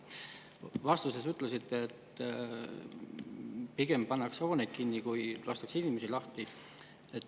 Vastuses ütlesite, et pigem pannakse hooneid kinni, kui lastakse inimesi lahti.